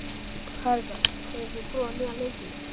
Karitas, hefur þú prófað nýja leikinn?